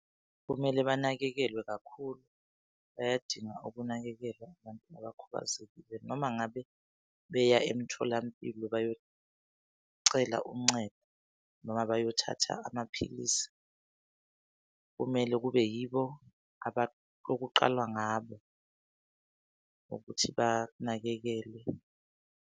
Kumele banakekelwe kakhulu. Bayadinga ukunakekelwa abantu abakhubazekile noma ngabe beya emtholampilo bayocela uncedo, noma bayothatha amaphilisi kumele kube yibo okuqalwa ngabo ukuthi banakekelwe.